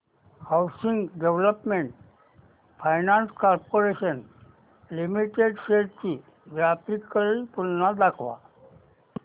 housing development finance corporation limited shares ची ग्राफिकल तुलना दाखव